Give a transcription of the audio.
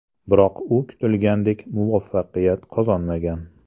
Biroq u kutilganidek muvaffaqiyat qozonmagan.